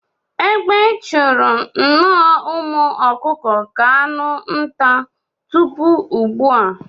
Egbe chụru nnọọ umu ọkụkụ ka anụ nta tupu ugbua.